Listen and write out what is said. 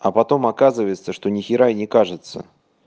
а потом оказывается что нихера и не кажется